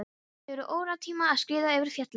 Þeir voru óratíma að skríða yfir fjallið.